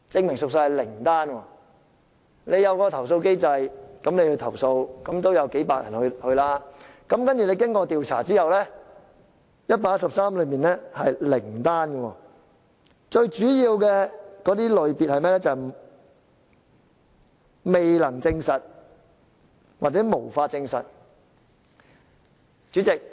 由於設有投訴機制，所以有數百人提出投訴，但經調查後卻只有零宗實屬，而投訴個案一般都屬於"未能證實"或"無法證實"的類別。